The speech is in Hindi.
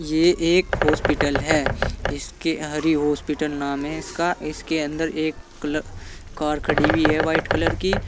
ये एक हॉस्पिटल है। इसके हरि हॉस्पिटल नाम है इसका। इसके अंदर एक क्ल कार खड़ी हुई है वाइट कलर की।